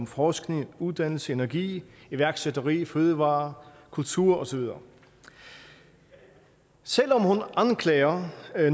forskning uddannelse energi iværksætteri fødevarer kultur og så videre selv om hun anklager